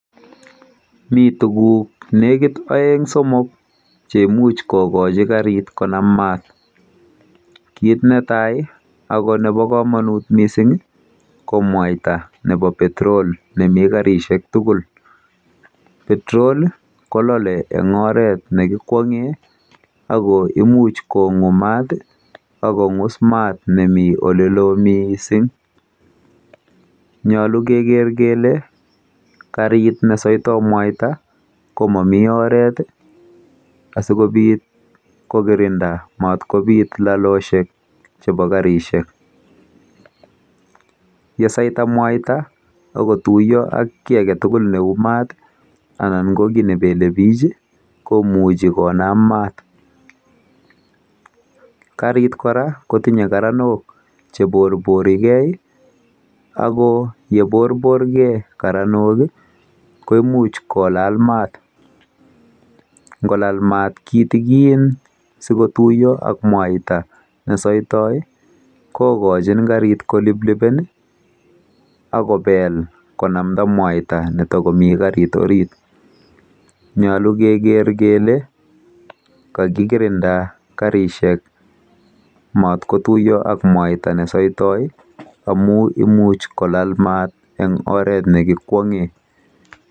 Mi tuguk oeng somok cheimuch kokochi karit konam maat. Kit netai ako nebo komonut mising ko mwaita nebo petrol nemi karishek tugul. Petrol kolole eng oret nekikwong'e mising ako imuch kongu mat akong'us maat nemi olelo mising.